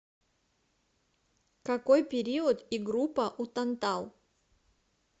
какой период и группа у тантал